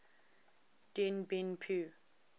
dien bien phu